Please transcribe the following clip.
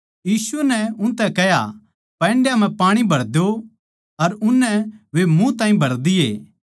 यीशु नै उनतै कह्या पैण्डां मै पाणी भर द्यो अर उननै वे मुँह ताहीं भर दिए